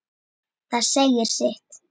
Það segir sitt.